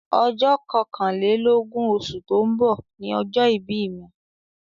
Ọjọ́ kọkànlélógún osù tó ń bọ̀ ni ọjọ́ ìbí mi